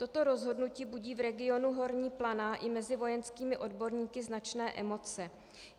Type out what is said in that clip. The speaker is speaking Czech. Toto rozhodnutí budí v regionu Horní Planá i mezi vojenskými odborníky značné emoce.